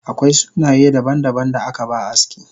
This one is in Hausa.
Akwai sunaye daban daban da akaba aski